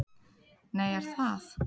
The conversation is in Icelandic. Nei, er það?